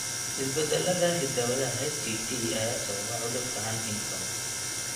Isbeddellada hidda-wadaha HTT ayaa sababa cudurka Huntington.